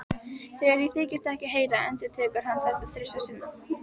Þegar ég þykist ekkert heyra endurtekur hann þetta þrisvar sinnum.